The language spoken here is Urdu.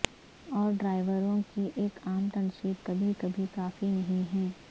اور ڈرائیوروں کی ایک عام تنصیب کبھی کبھی کافی نہیں ہے